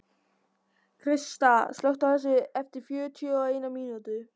Krista, slökktu á þessu eftir fjörutíu og eina mínútur.